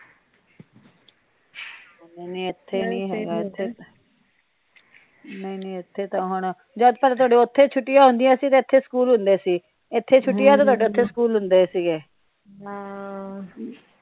ਨਹੀਂ ਨਹੀਂ ਇੱਥੇ ਤਾ ਹੁਣ ਜਿਆਦਾ ਤਰ ਤੁਹਾਡੇ ਉੱਥੇ ਛੁੱਟੀਆਂ ਹੁੰਦੀਆਂ ਸੀ ਤੇ ਇਥੇ ਸਕੂਲ ਹੁੰਦੇ ਸੀ। ਇੱਥੇ ਛੁੱਟੀਆਂ ਤਾ ਤੁਹਾਡੇ ਇੱਥੇ ਸਕੂਲ ਹੁੰਦੇ ਸੀ ਗੇ